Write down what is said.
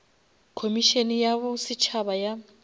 khomišene ya bo setšhaba ya